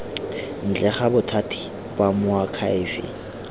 ntle ga bothati ba moakhaefe